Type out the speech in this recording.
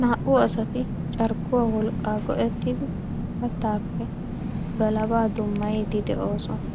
Naa''u asati carkkuwaa wolqqaa go'ettidi kattaappe galabaa dummayiiddi de'oosona.